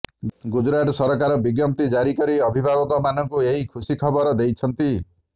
ଗୁଜୁରାଟ ସରକାର ବିଜ୍ଞପ୍ତି ଜାରି କରି ଅଭିଭାବକମାନଙ୍କୁ ଏହି ଖୁସି ଖବର ଦେଇଛନ୍ତି